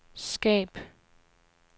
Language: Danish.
skab